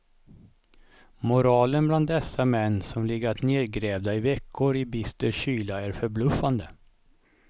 Moralen bland dessa män som legat nedgrävda i veckor i bister kyla är förbluffande.